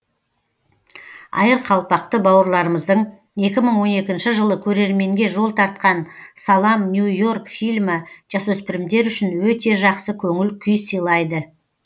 айырқалпақты бауырларымыздың екі мың он екінші жылы көрерменге жол тартқан салам нью и орк фильмі жасөспірімдер үшін өте жақсы көңіл күй сыйлайды